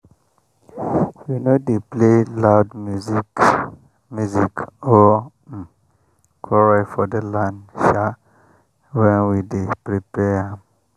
we no dey play loud music music or um quarrel for the land sha when we dey prepare am.